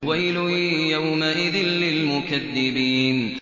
وَيْلٌ يَوْمَئِذٍ لِّلْمُكَذِّبِينَ